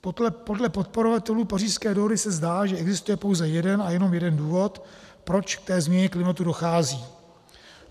Podle podporovatelů Pařížské dohody se zdá, že existuje pouze jeden a jenom jeden důvod, proč k té změně klimatu dochází.